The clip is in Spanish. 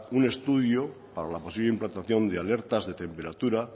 un estudio para la posible implantación de alertas de temperatura